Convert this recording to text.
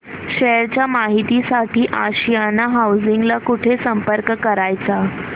share च्या माहिती साठी आशियाना हाऊसिंग ला कुठे संपर्क करायचा